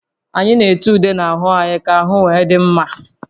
Anyị na-ete ude n'ahụ anyị ka ahụ wee dị mma